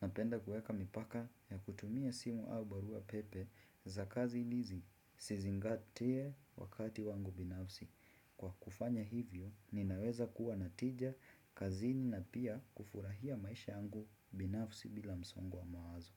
napenda kueka mipaka ya kutumia simu au barua pepe za kazi nizi sizingatee wakati wangu binafsi. Kwa kufanya hivyo ninaweza kuwa natija kazini na pia kufurahia maisha yangu binafsi bila msongo wa mawazo.